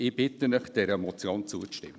Ich bitte Sie, dieser Motion zuzustimmen.